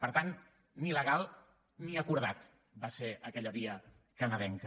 per tant ni legal ni acordada va ser aquella via canadenca